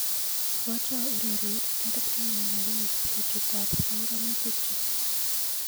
Ibwatwa ureryet tarik taman ak agenge betutap panganutikchu.